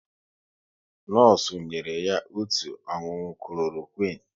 Nọọsụ nyere ya otu ọṅụṅụ Kloroquine